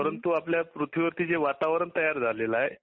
परंतू आपल्या पृथ्वीवरती जे वातावरण तयार झालेले आहे.